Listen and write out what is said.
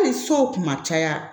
Hali so kuma caya